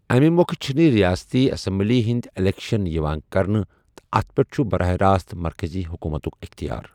اَمی مۄکھٕ چھِنہٕ ریٲستی اسمبلی ہٕنٛدۍ الیکشن یِوان کرنہٕ تہٕ اَتھ پیٹھ چھُ براہِ راست مرکٕزی حکوٗمتُک اِختیار۔